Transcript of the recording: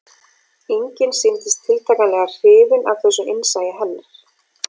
Enginn sýndist tiltakanlega hrifinn af þessu innsæi hennar